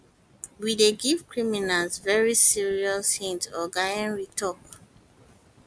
we dey give criminals very serious hit oga henry tok